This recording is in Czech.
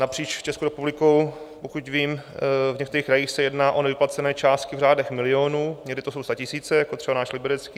Napříč Českou republikou, pokud vím, v některých krajích, se jedná o nevyplacené částky v řádech milionů, někdy to jsou statisíce, jako třeba náš Liberecký.